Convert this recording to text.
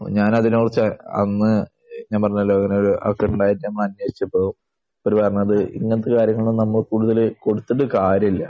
ഞാൻ അതിനെക്കുറിച്ച് അന്ന് ഞാൻ പറഞ്ഞല്ലോ അങ്ങനെയൊരു ചെറുതായിട്ട് ഞങ്ങൾ അന്വേഷിച്ചപ്പോൾ അവർ പറഞ്ഞത് ഇങ്ങനത്തെ കാര്യങ്ങളൊന്നും നമ്മൾ കൂടുതൽ കൊടുത്തിട്ട് കാര്യമില്ല.